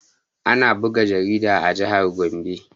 Ana buga jarida a jihar gombe